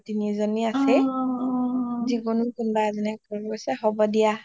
তিনিও জনী আছেই যিকোনো কোনবা এজনী এ কৰিব কৈছে হব দিয়া